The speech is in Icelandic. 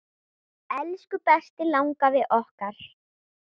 Elsku besti langafi okkar.